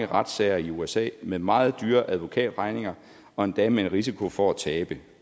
retssager i usa med meget dyre advokatregninger og endda med en risiko for at tabe